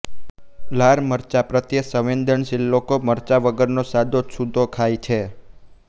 લાલ મરચા પ્રત્યે સંવેદન શીલ લોકો મરચાં વગરનો સાદો છૂંદો ખાય છે